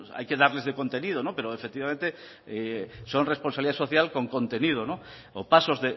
hay que darles de contenido pero efectivamente son responsabilidad social con contenido o pasos